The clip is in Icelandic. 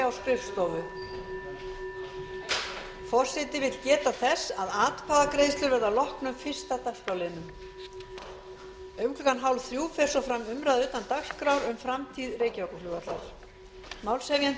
forseti vill geta þess að atkvæðagreiðslur verða að loknum fyrsta dagskrárlið um klukkan hálfþrjú fer fram umræða utan dagskrár um framtíð reykjavíkurflugvallar málshefjandi er